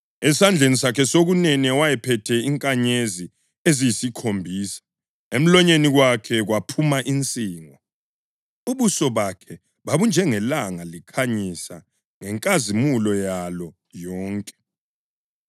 Esandleni sakhe sokunene wayephethe izinkanyezi eziyisikhombisa, emlonyeni wakhe kwaphuma insingo. Ubuso bakhe babunjengelanga likhanyisa ngenkazimulo yalo yonke.